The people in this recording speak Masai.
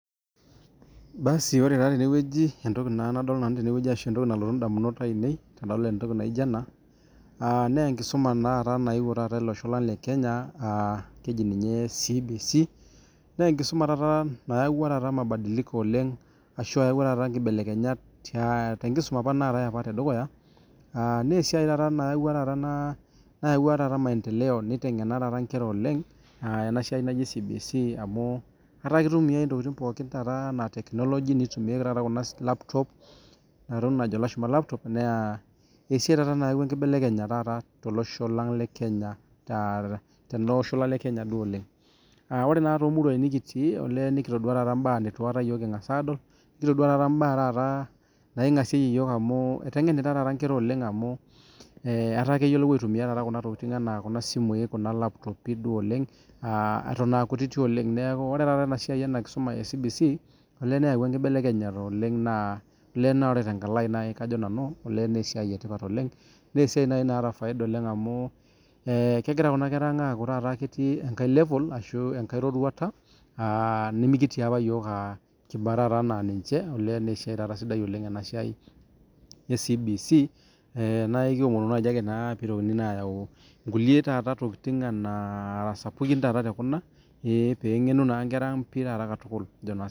Basi ore naa tenewueji entoki nadolita ashuu entoki nalotu indamunot ainei. tenadol entoki naijo ena, enkisuma nayeuo taata olosho lang le kenya ahh keji niye CBC. Naa enkisuma taata nayaua taata nkibelekenyat tenkisuma apa naatae tedukuya. Amu esiai taata nayaua maendele neitengena taata ingera oleng, ena siai naji CBC amuu etaa ketumi ake taata ntokitin pooki anaa tekinologi. Netumieki taata kuna laptop. Naa esiai taata nayaua enkibelekenyata tolosho lang le Kenya duo oleng. Ore naa too muruai nikitii, olee nikitodua taa yiook mbaa neitu aika kingas aadol, kitoduaa taata imbaa naingasieyie iyook amu, etengenita taata inkera amu etaa keyiolou aitumia kuna tokitin anaa kuna simui anaa kuna laptop duo oleng eton aakutiti oleng. Neaku ore taata enasiai ena kisuma e CBC olee neyaua enkibelekenyata oleng. Naa ore tenkalo ai naa kajo nanu, olee naa esiai etipata olebg amu kegira kuna kera ang aaku ketii taata enkae levol ashuu enkae roruata aaah nimikitii apa iyook kiba taata ana ninche naa esiai taata sidai ena siai oleng e CBC naa ekiomonu naaji ake naa peyie eitokini ayau kulie taata tokini nara sapukin taata tekuna peyie enganu naa nkera ang katukul.